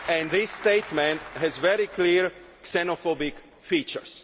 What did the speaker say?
This statement has very clear xenophobic features.